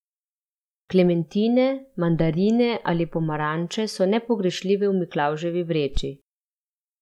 Klementine, mandarine ali pomaranče so nepogrešljive v Miklavževi vreči.